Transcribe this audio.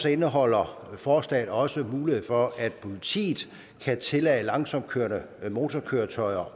indeholder forslaget også mulighed for at politiet kan tillade langsomt kørende motorkøretøjer